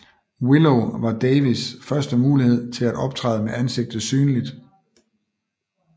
Willow var Davis første mulighed til at optræde med ansigtet synligt